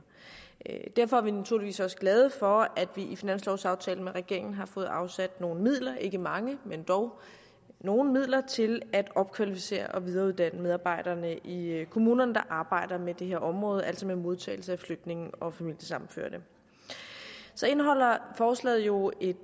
derfor er vi naturligvis også glade for at vi i finanslovsaftalen med regeringen har fået afsat nogle midler ikke mange men dog nogle midler til at opkvalificere og videreuddanne de medarbejdere i kommunerne der arbejder med det her område altså med modtagelse af flygtninge og familiesammenførte så indeholder forslaget jo et